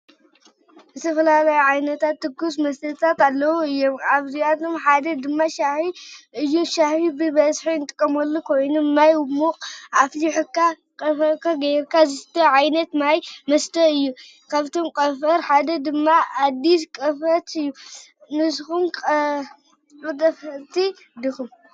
ዝተፈላለዩ ዓይነታት ትኩስ መስተታት አለው እዩም። ካብአቶም ሓደ ድማ ሻሂ እዩ። ሻሂ ብበዚሒ እንጥቀመሉ ኮይኑ ማይ ሙቅ አፍሊሕካ ቀጠፈ ገይርካ ዝስተ ዓይነት መስተ እዩ። ካብቶም ቀጠፍ ሓደ ድማ አዲስ ቀጠፍ እዩ። ንስኩም ከተጠቀመቲ ዲኩም?